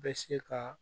Bɛ se ka